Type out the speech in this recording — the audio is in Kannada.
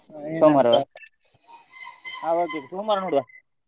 ಹಾ okay ಸೋಮವಾರ ನೋಡುವ.